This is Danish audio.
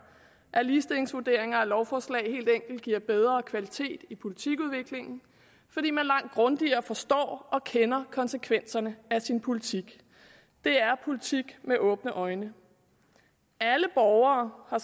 at ligestillingsvurderinger af lovforslag helt enkelt giver bedre kvalitet i politikudviklingen fordi man langt grundigere forstår og kender konsekvenserne af sin politik det er politik med åbne øjne alle borgere har